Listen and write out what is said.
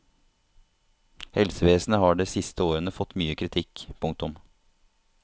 Helsevesenet har de siste årene fått mye kritikk. punktum